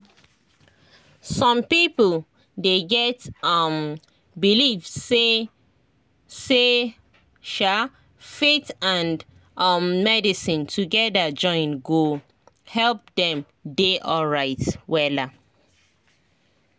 some people dey get um believe say say um faith and um medicine together join go help dem dey alright wella